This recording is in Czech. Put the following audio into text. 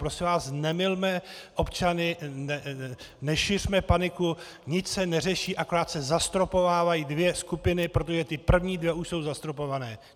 Prosím vás, nemylme občany, nešiřme paniku, nic se neřeší, akorát se zastropovávají dvě skupiny, protože ty první dvě už jsou zastropované.